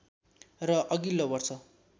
र अगिल्लो वर्ष